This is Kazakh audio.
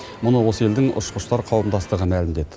мұны осы елдің ұшқыштар қауымдастығы мәлімдеді